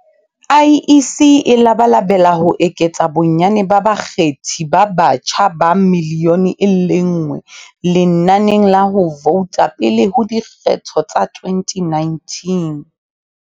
IEC e labalabela ho eketsa bonnyane ba bakgethi ba batjha ba milione e le nngwe lenaneng la ho vouta pele ho dikgetho tsa 2019.